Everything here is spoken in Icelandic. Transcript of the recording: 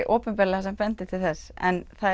opinberlega sem bendir til þess en það